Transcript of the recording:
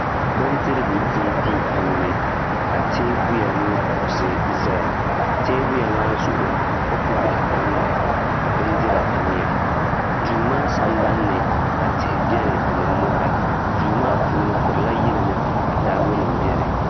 Bindorigu dibu duu puuni ka teebuya ni kuɣusi ʒɛya teebuya maa zuɣu kopu bihi tammi ka ka bjndira tamya duu maa sambanni ka tihi biɛni ni mori duu maa puuni furla yilimi ka taabo nima biɛni